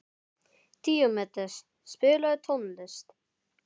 Díómedes, spilaðu tónlist.